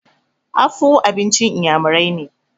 afu abincin inyamirai ne